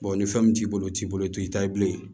ni fɛn min t'i bolo t'i bolo i t'i ta ye bilen